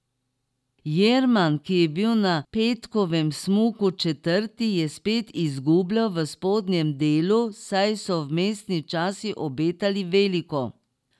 Jerman, ki je bil na petkovem smuku četrti, je spet izgubljal v spodnjem delu, saj so vmesni časi obetali veliko.